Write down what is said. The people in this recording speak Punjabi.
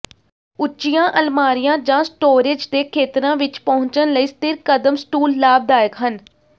ਉੱਚੀਆਂ ਅਲਮਾਰੀਆਂ ਜਾਂ ਸਟੋਰੇਜ ਦੇ ਖੇਤਰਾਂ ਵਿੱਚ ਪਹੁੰਚਣ ਲਈ ਸਥਿਰ ਕਦਮ ਸਟੂਲ ਲਾਭਦਾਇਕ ਹਨ